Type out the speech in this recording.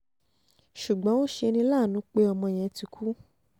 ṣùgbọ́n ó ṣe ní láàánú pé um ọmọ yẹn ti kú